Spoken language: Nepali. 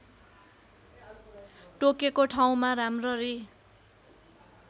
टोकेको ठाउँमा राम्ररी